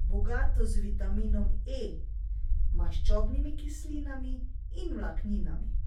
bogato z vitaminom E, maščobnimi kislinami in vlakninami.